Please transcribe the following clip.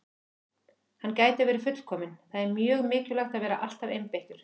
Hann gæti verið fullkominn- það er mjög mikilvægt að vera alltaf einbeittur.